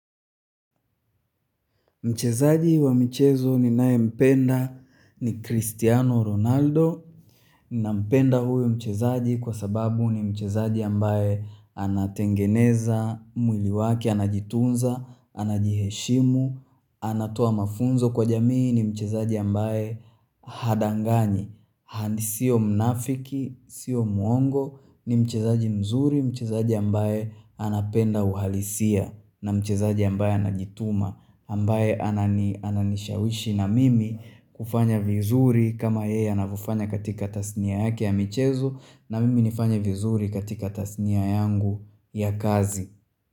Mchezaji wa michezo ninayempenda ni Cristiano Ronaldo nampenda huyo mchezaji kwa sababu ni mchezaji ambaye anatengeneza, muiliwaki, anajitunza, anajiheshimu, anatoa mafunzo kwa jamii ni mchezaji ambaye hadanganyi, hadi sio mnafiki, sio muongo, ni mchezaji mzuri, mchezaji ambaye anapenda uhalisia na mchezaji ambaye anajituma ambaye ananishawishi na mimi kufanya vizuri kama yeye anavofanya katika tasnia yake ya michezo na mimi nifanye vizuri katika tasnia yangu ya kazi.